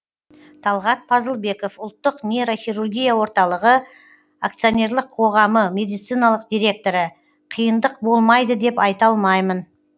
талғат пазылбеков ұлттық нейрохирургия орталығы акционерлік қоғамы медициналық директоры қиындық болмайды деп айта алмаймын